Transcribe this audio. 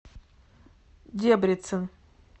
дебрецен